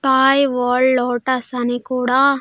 టయ్ world lotus అని కూడా.